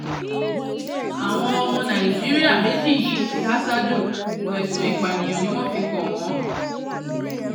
àwọn ọmọ nàìjíríà méjì yìí ti há sájò ẹ̀sùn ìpànìyàn ni wọ́n fi kàn wọ́n